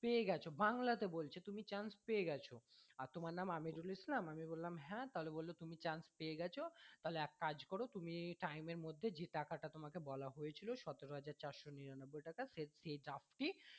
পেয়ে গেছো বাংলা তে বলছে তুমি chance পেয়ে গেছো আর তোমার নাম আমিরুল ইসলাম আমি বললাম হ্যাঁ তাহলে বললো তুমি chance পেয়ে গেছো তাহলে এক কাজ করো তুমি time এর মধ্যে যে টাকা টা তোমায় বলা হয়েছে সতেরো হাজার চারশো নিরানব্বই টাকা সে সেই charge টি